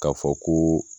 K'a fɔ koo